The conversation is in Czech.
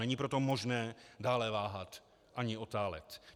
Není proto možné dále váhat ani otálet.